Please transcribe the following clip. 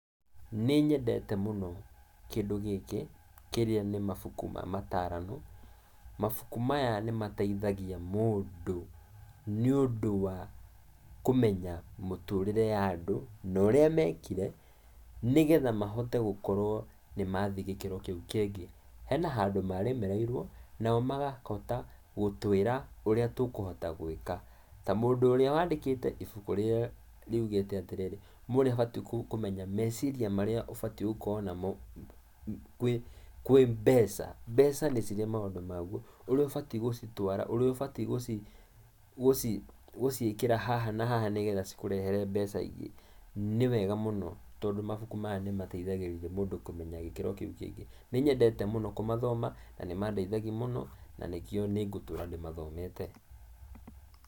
Nĩnyendete mũno kĩndũ gĩkĩ, kĩrĩa nĩ mabuku ma matarano. Mabuku maya nĩmateithagia mũndũ nĩũndũ wa kũmenya mũtũrĩre ya andũ, na ũria mekire nĩgetha mahote gũkorwo nĩmathiĩ gĩkĩro kĩu kĩngĩ, hena handũ maremereirwo, nao magahota gũtwĩra ũrĩa tũkũhota gwĩka. Ta mũndũ ũrĩa wandĩkĩte ibuku rĩrĩa riugĩte atĩrĩrĩ, 'mũndũ nĩabatiĩ kũmenya meciria marĩa ũbatiĩ gũkorwo namo kwĩ kwĩ mbeca'. Mbeca nĩ cirĩ maũndũ maguo, ũrĩa ũbatiĩ gũcitwara, ũrĩa ũbatiĩ guciĩkĩra haha na haha nĩgetha cikũrehere mbeca ingĩ. Nĩwega mũno tondũ mabuku maya nĩmateithagĩrĩria mũndũ kũmenya gĩkĩro kĩũ kĩngĩ. Nĩnyendete mũno kũmathoma, na nĩmandeithagia mũno, na nĩkĩo nĩngũtũra ndĩmathomete.